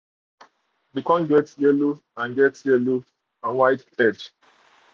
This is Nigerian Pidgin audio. dey um corn get yellow and get yellow and um white head.